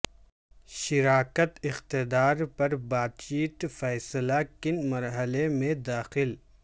شراکت اقتدار پر بات چیت فیصلہ کن مرحلے میں داخل